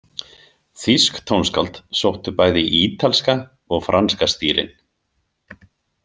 Þýsk tónskáld sóttu bæði í ítalska og franska stílinn.